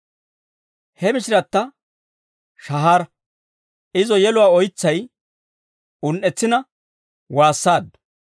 He mishiratta shahaara; izo yeluwaa oytsay, un"etsina waassaaddu.